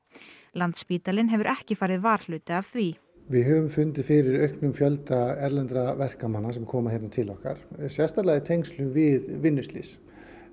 landspítalinn hefur ekki farið varhluta af því við höfum fundið fyrir auknum fjölda erlendra verkamanna sem koma hingað til okkar sérstaklega í tengslum við vinnuslys